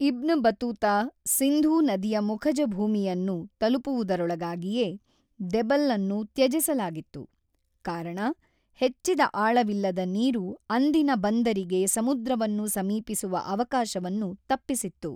Ibn Battuta Sindhu ನದಿಯ ಮುಖಜ ಭೂಮಿಯನ್ನು ತಲುಪುವುದರೊಳಗಾಗಿಯೇ , ದೆಬಲ್‌ ಅನ್ನು ತ್ಯಜಿಸಲಾಗಿತ್ತು, ಕಾರಣ ಹೆಚ್ಚಿದ ಆಳವಿಲ್ಲದ ನೀರು ಅಂದಿನ ಬಂದರಿಗೆ ಸಮುದ್ರವನ್ನು ಸಮೀಪಿಸುವ ಅವಕಾಶವನ್ನು ತಪ್ಪಿಸಿತ್ತು.